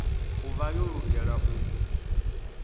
u vha yo lugela u